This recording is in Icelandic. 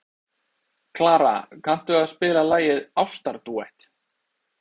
Klara, kanntu að spila lagið „Ástardúett“?